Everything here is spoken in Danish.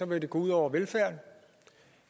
vil det gå ud over velfærden